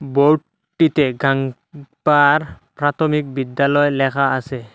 Board টিতে গাঙ্গ উম পার প্রাথমিক বিদ্যালয় লেখা আছে।